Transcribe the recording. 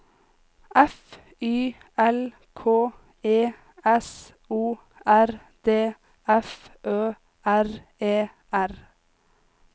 F Y L K E S O R D F Ø R E R